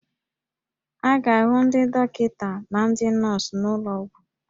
A ga-ahụ ndị dọkịta na ndị nọọsụ n'ụlọ ọgwụ